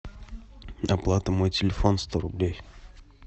оплата мой телефон сто рублей